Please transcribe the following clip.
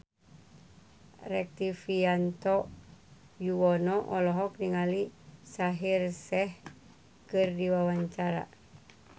Rektivianto Yoewono olohok ningali Shaheer Sheikh keur diwawancara